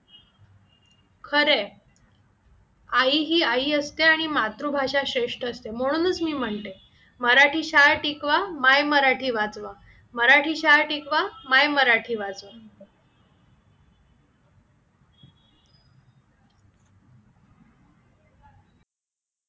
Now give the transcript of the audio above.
खरं आहे, आई ही आई असते आणि मातृभाषा श्रेष्ठ असते म्हणूनच मी म्हणते मराठी शाळा टिकवा माय मराठी वाचवा मराठी शाळा टिकवा माय मराठी वाचवा